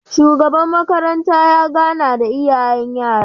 Shugaba makaranta ya gana da iyayen yara